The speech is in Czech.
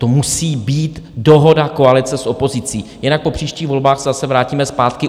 To musí být dohoda koalice s opozicí, jinak po příštích volbách se zase vrátíme zpátky.